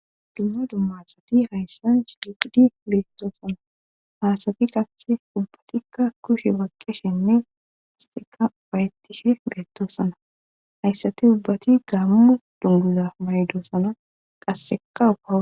Dumma dumma asati hayssan shiiqidi bettoossana haasati qasse ubbatikka kushe maqqeshenne hasteka bayettishe beettossana hayssati ubbati gaammu dunduza maydosana qassekaufa